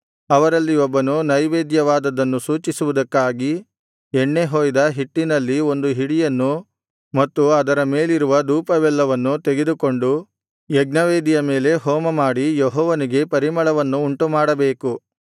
ಅವರಲ್ಲಿ ಒಬ್ಬನು ನೈವೇದ್ಯವಾದದ್ದನ್ನು ಸೂಚಿಸುವುದಕ್ಕಾಗಿ ಎಣ್ಣೆ ಹೊಯ್ದ ಹಿಟ್ಟಿನಲ್ಲಿ ಒಂದು ಹಿಡಿಯನ್ನು ಮತ್ತು ಅದರ ಮೇಲಿರುವ ಧೂಪವೆಲ್ಲವನ್ನು ತೆಗೆದುಕೊಂಡು ಯಜ್ಞವೇದಿಯ ಮೇಲೆ ಹೋಮಮಾಡಿ ಯೆಹೋವನಿಗೆ ಪರಿಮಳವನ್ನು ಉಂಟುಮಾಡಬೇಕು